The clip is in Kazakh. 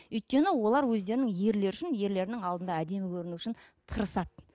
өйткені олар өздерінің ерлері үшін ерлерінің алдында әдемі көріну үшін тырысады